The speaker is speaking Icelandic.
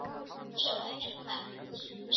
Svo er bara að bíða og sjá.